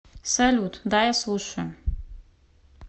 салют да я слушаю